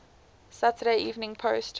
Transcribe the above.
saturday evening post